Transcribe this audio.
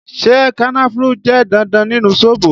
Ṣé kànnáfùrù jẹ́ dandan nínú zobo?